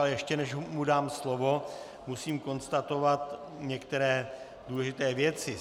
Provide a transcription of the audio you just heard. Ale ještě než mu dám slovo, musím konstatovat některé důležité věci.